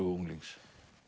unglings